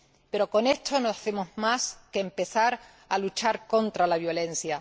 Pero con esto no hacemos más que empezar a luchar contra la violencia.